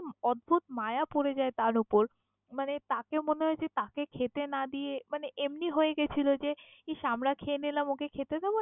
অদ্ভুত মায়া পড়ে যায় তার উপর মানে তাকে মনে হয় তাকে খেতে না দিয়ে মানে এমনি হয়ে গেছিল যে ইস আমারা খেয়ে নিলাম ওকে খেতে দেব না!